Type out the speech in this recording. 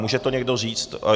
Může to někdo říct?